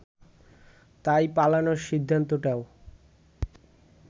তাই পালানোর সিদ্ধান্তটাও